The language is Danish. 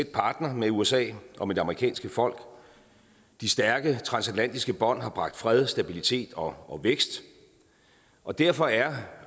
partner med usa og det amerikanske folk de stærke transatlantiske bånd har bragt fred stabilitet og vækst og derfor er